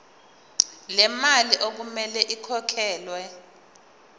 lemali okumele ikhokhelwe